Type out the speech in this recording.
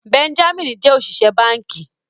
Benjamin jẹ oṣiṣẹ banki.